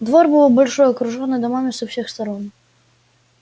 двор был большой окружённый домами со всех сторон